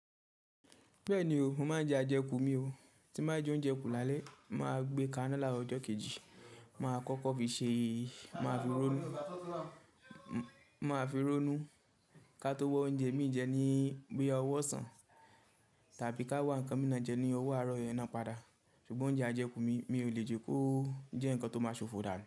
Bẹ́ẹ̀ni o, mo máa ń jẹ àjẹkù mi o, tí mo bá jẹ oúnjẹ kù lálẹ́, màá gbé ká ná larọ ọjọ́ kejì, màá kọ́kọ́ fi ṣe, màá fi ronú, màá fi ronú ká tó wá oúnjẹ mi jẹ ní bí i ọwọ́ sàn tàbí ká wá ǹkan mìíràn jẹ ní ọwọ́ àárọ̀ yẹn náà padà. Ṣùgbọ́n oúnjẹ àjẹkù mi, mi ò lè jẹ kó jẹ́ ǹkan tó máa ṣòfò dàádo.